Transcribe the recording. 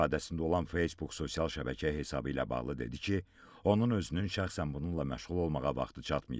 İstifadəsində olan Facebook sosial şəbəkə hesabı ilə bağlı dedi ki, onun özünün şəxsən bununla məşğul olmağa vaxtı çatmayıb.